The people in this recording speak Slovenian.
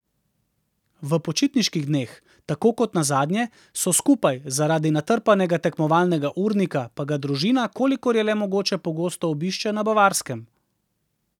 V počitniških dneh, tako kot nazadnje, so skupaj, zaradi natrpanega tekmovalnega urnika pa ga družina, kolikor je le mogoče, pogosto obišče na Bavarskem.